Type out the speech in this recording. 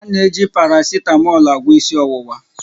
Ana eji parasitamọlu agwọ ịsị ọwụwa.